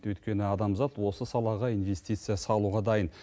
өйткені адамзат осы салаға инвестиция салуға дайын